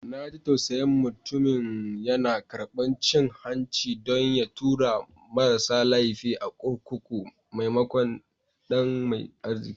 Na ji tausayin mutumin, yana karbar cin hanci don ya tura marasa laifi a kurkuku maimakon ɗan mai arziki.